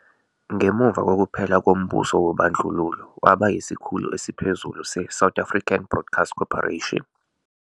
Ngemuva kokuphela kombuso wobandlululo, waba isikhulu esiphezulu se-South African Broadcast Corporation.